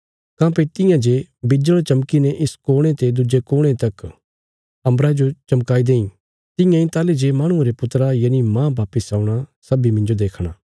काँह्भई तियां जे बिज्जल़ चमकीने इक कोणे ते दुज्जे कोणे तक अम्बरा जो चमकाई देईं तियां इ ताहली जे माहणुये रे पुत्रा यनि मांह वापस औणा सब्बीं मिन्जो देखणा